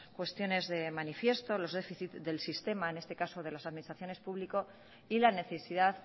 cuestiones de manifiesto los déficit del sistema en este caso de las administraciones públicas y la necesidad